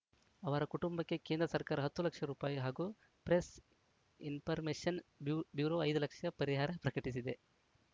ಅವರ ಕುಟುಂಬಕ್ಕೆ ಕೇಂದ್ರ ಸರ್ಕಾರ ಹತ್ತು ಲಕ್ಷ ರುಪಾಯಿ ಹಾಗೂ ಪ್ರೆಸ್‌ ಇನ್ಫರ್ಮೇಶನ್‌ ಬ್ಯೂರೋ ಐದು ಲಕ್ಷ ಪರಿಹಾರ ಪ್ರಕಟಿಸಿದೆ